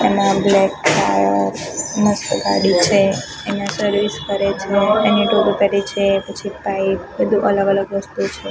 મસ્ત ગાડી છે અહીંયા સર્વિસ કરે છે કરે છે પછી પાઈપ બધુ અલગ અલગ વસ્તુ છે.